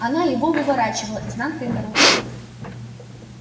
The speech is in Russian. она его выворачивала изнанкой наружу